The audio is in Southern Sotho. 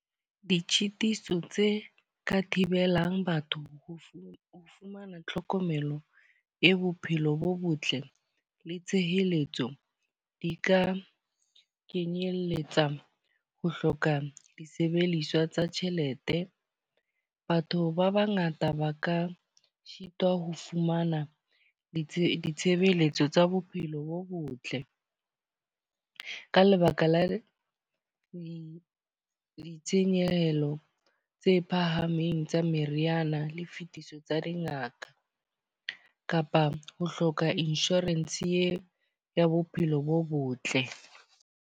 Ditshitiso tse ka thibelang batho ho fumana tlhokomelo e bophelo bo botle le tshehetso. Di ka kenyelletsa ho hloka disebediswa tsa tjhelete. Batho ba ba ngata ba ka sitwa ho fumana ditshebeletso tsa bophelo bo botle. Ka lebaka la ditshenyehelo tse phahameng tsa meriana le fetiswa tsa dingaka. Kapa ho hloka insurance eo ya bophelo bo botle.